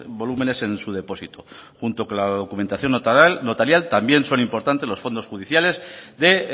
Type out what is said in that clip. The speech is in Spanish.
volúmenes en su depósito junto con la documentación notarial también son importantes los fondos judiciales de